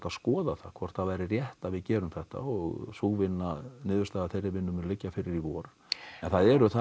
skoða það hvort það væri rétt að við gerum þetta og sú vinna niðurstaðan þeirri vinnu mun liggja fyrir í vor en það eru þar